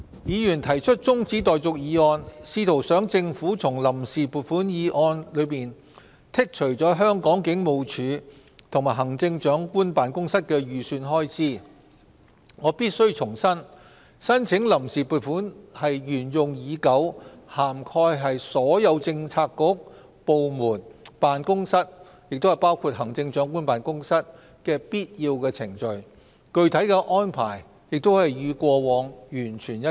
議員提出中止待續議案，試圖想政府從臨時撥款議案中剔除香港警務處及行政長官辦公室的預算開支，我必須重申，申請臨時撥款是沿用已久、涵蓋所有政策局、部門、辦公室，包括行政長官辦公室的必要程序，具體安排亦與過往完全一致。